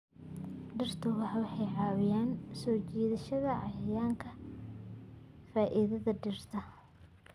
Dhirta ubaxa waxay caawiyaan soo jiidashada cayayaanka faafiya dhirta.